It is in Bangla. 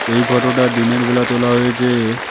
এই ফোটোটা দিনের বেলা তোলা হয়েছে।